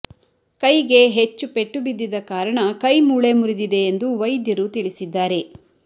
ಕೈಗೆ ಹೆಚ್ಚು ಪೆಟ್ಟು ಬಿದ್ದಿದ್ದ ಕಾರಣ ಕೈ ಮೂಳೆ ಮುರಿದಿದೆ ಎಂದು ವೈದ್ಯರು ವೈದ್ಯರು ತಿಳಿಸಿದ್ದಾರೆ